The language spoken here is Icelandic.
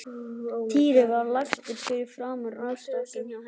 Týri var lagstur fyrir framan rúmstokkinn hjá henni.